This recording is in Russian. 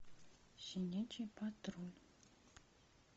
щенячий патруль